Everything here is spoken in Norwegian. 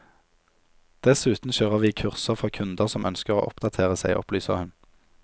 Dessuten kjører vi kurser for kunder som ønsker å oppdatere seg, opplyser hun.